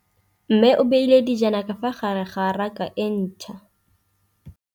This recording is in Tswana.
Mmê o beile dijana ka fa gare ga raka e ntšha.